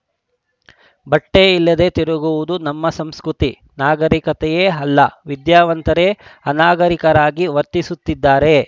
ಬಟ್ಟೆಇಲ್ಲದೆ ತಿರುಗುವುದು ನಮ್ಮ ಸಂಸ್ಕೃತಿ ನಾಗರೀಕತೆ ಅಲ್ಲ ವಿದ್ಯಾವಂತರೇ ಅನಾಗರಿಕರಾಗಿ ವರ್ತಿಸುತ್ತಿದ್ದಾರೆ